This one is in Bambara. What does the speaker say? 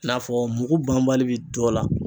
I n'a fɔ mugu banbali bi dɔ la.